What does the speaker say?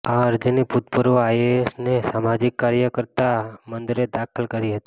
આ અરજી ભૂતપૂર્વ આઇએએસ અને સામાજીક કાર્યકર્તા મંદરે દાખલ કરી હતી